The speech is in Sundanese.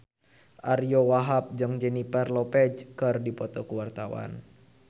Ariyo Wahab jeung Jennifer Lopez keur dipoto ku wartawan